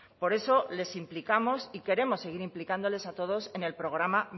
por eso les implicamos y queremos seguir implicándoles a todos en el programa